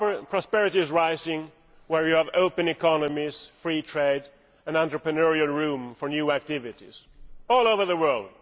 Prosperity is rising where there are open economies, free trade and entrepreneurial room for new activities all over the world.